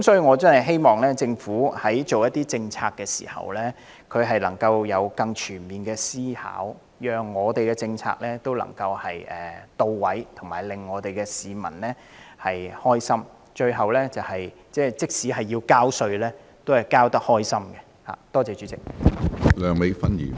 我真的希望政府在制訂政策時能有更全面的思考，確保政策能到位，能令市民快樂，讓他們即使需要繳稅，在繳款時也感到高興。